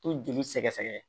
To joli sɛgɛsɛgɛ